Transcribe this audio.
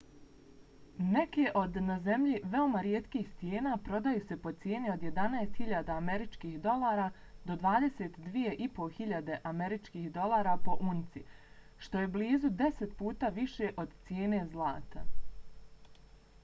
neke od na zemlji veoma rijetkih stijena prodaju se po cijeni od 11.000 usd do 22.500 usd po unci što je blizu deset puta više od cijene zlata